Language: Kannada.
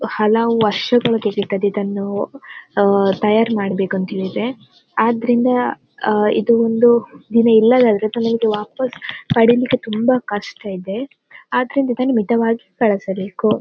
ಹಲವು ವರ್ಷಗಳು ತಗೆವುತ್ತದ್ದೆ ಇದನ್ನು ಆಹ್ಹ್ ತಯಾರ್ ಮಾಡ್ಬೇಕು ಅಂತ ಹೇಳಿದ್ರೆ ಅದರಿಂದ ಆಹ್ಹ್ ಇದು ಒಂದು ದಿನ ವಾಪಾಸ್ ಪಡೀಲಿಕ್ಕೆ ತುಂಬಾ ಕಷ್ಟ ಇದೆ ಅದರಿಂದ ಇದನ್ನ ಮಿತವಾಗಿ ಬಳಸಬೇಕು.